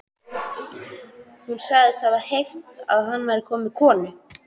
Hún sagðist hafa heyrt að hann væri kominn með konu.